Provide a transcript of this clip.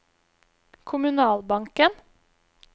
kommunalbanken